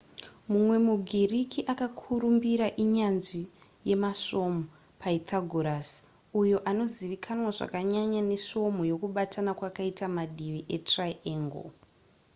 mumwe mugiriki akakurumbira inyanzvi yemasvomhu pythagoras uyo anozivikanwa zvakanyanya nesvomhu yekubatana kwakaita mativi etriangle